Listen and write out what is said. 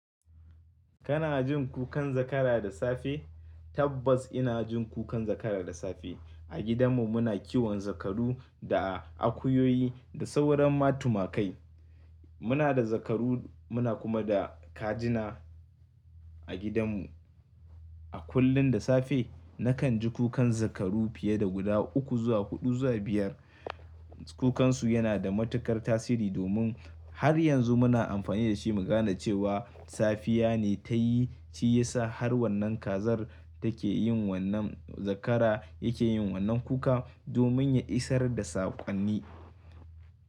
Kana jin kukan zakara da safe? Tabbas ina jin kukan zakara da safe. A gidanmu muna kiwon zakaru da akuyoyi da sauran ma tumakai. Muna da zakaru muna kuma da kajina a gidanmu. A kullum da safe nakan ji kukan zakaru fiye da guda uku zuwa huɗu zuwa biyar. Kukansu yana da matuƙar tasiri domin har yanzu muna amfani da shi mu gane cewa safiya ne ta yi, ce ya sa har wannan kazar take yin wannan zakara yake yin wannan kuka domin ya isar da saƙonni.